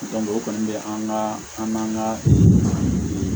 o kɔni bɛ an ka an ka